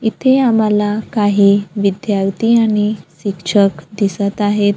इथे आम्हाला काही विद्यार्थी आणि शिक्षक दिसत आहेत.